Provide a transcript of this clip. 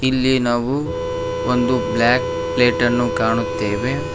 ಇಲ್ಲಿ ನಾವು ಒಂದು ಬ್ಲ್ಯಾಕ್ ಪ್ಲೇಟನ್ನು ಕಾಣುತ್ತೇವೆ.